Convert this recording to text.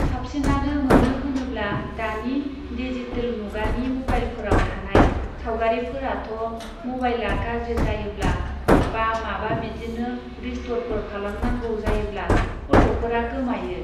साबसिनानो मानो होनोब्ला दानि डिजिटेल मुगानि मबाइलफोराव थानाय सावगारिफोराथ' मबाइलआ गाज्रि जायोब्ला बा माबा बिदिनो रिस्ट'रफोर खालामनांगौ जायोब्ला फट'फोरा गोमायो।